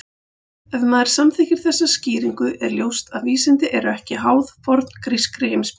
Ef maður samþykkir þessa skýringu er ljóst að vísindi eru ekki háð forngrískri heimspeki.